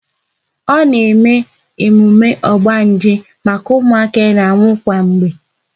A na eme emume ogbanje maka ụmụaka na-anwụ kwa mgbe